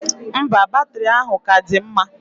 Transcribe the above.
Mba, batiri ahụ ka dị mma.